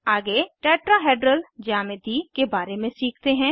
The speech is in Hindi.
आगे टेट्राहेड्रल ज्यामिति के बारे में सीखते हैं